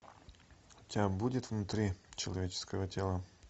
у тебя будет внутри человеческого тела